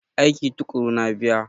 Aiki tuƙuru na biya.